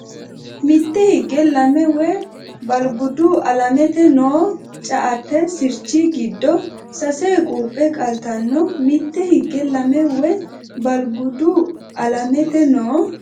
Mitte higge lame woy Balgudu Alamete noo ceate sirchi giddo sase quuphe qaltanno Mitte higge lame woy Balgudu Alamete noo.